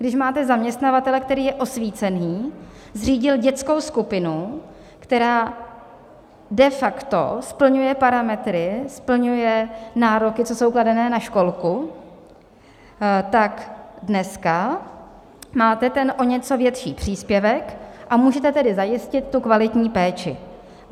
Když máte zaměstnavatele, který je osvícený, zřídil dětskou skupinu, která de facto splňuje parametry, splňuje nároky, co jsou kladené na školku, tak dneska máte ten o něco větší příspěvek, a můžete tedy zajistit tu kvalitní péči.